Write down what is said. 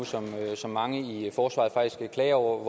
som mange i forsvaret faktisk klager over